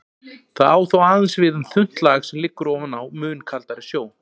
Það á þó aðeins við um þunnt lag sem liggur ofan á mun kaldari sjó.